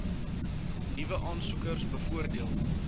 nuwe aansoekers bevoordeel